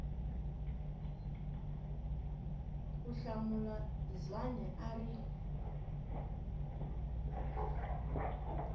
ku hlamula zwane a ri